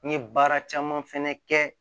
N ye baara caman fɛnɛ kɛ